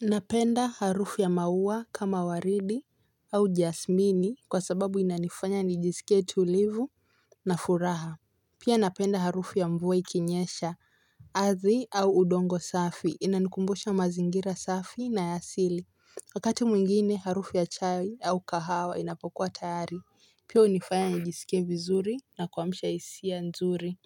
Napenda harufu ya maua kama waridi au jasmini kwa sababu inanifanya nijisikie tulivu na furaha. Pia napenda harufu ya mvua ikinyesha ardhi au udongo safi inanikumbusha mazingira safi na ya asili. Wakati mwingine harufu ya chai au kahawa inapokua tayari. Pia hunifanya nijisikie vizuri na kuamsha hisia nzuri.